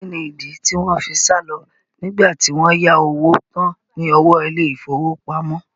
Kí ni ìdí tí wọn fi sálọ nígbà tí wọ́n yá owó tán ní ọwọ́ ilé ìfowópamọ́?